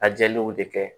A jeliw de kɛ